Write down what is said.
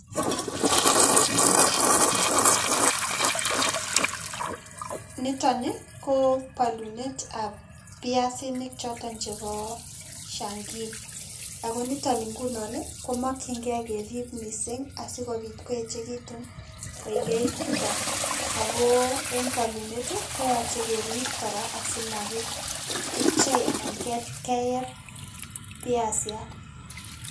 Niton ni kobolunetab piasinik choton chebo Shangii ago niton ngunon ii komokyingei kerib missing' asikopit ko echekitun koikeit chuton ago en polunet ii koyoche kerib kora asimakipchei anan keyeb piasiat.